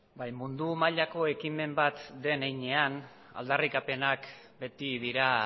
bai mundu mailako ekimen bat den heinean aldarrikapenak beti dira